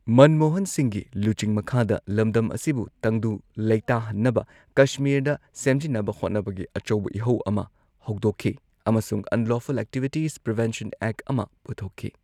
ꯃꯟꯃꯣꯍꯟ ꯁꯤꯡꯍꯒꯤ ꯂꯨꯆꯤꯡ ꯃꯈꯥꯗ ꯂꯝꯗꯝ ꯑꯁꯤꯕꯨ ꯇꯪꯗꯨ ꯂꯩꯇꯥꯍꯟꯅꯕ ꯀꯁꯃꯤꯔꯗ ꯁꯦꯝꯖꯤꯟꯅꯕ ꯍꯣꯠꯅꯕꯒꯤ ꯑꯆꯧꯕ ꯏꯍꯧ ꯑꯃ ꯍꯧꯗꯣꯛꯈꯤ ꯑꯃꯁꯨꯡ ꯑꯟꯂꯣꯐꯨꯜ ꯑꯦꯛꯇꯤꯕꯤꯇꯤꯁ ꯄ꯭ꯔꯤꯚꯦꯟꯁꯟ ꯑꯦꯛ ꯑꯃ ꯄꯨꯊꯣꯛꯈꯤ꯫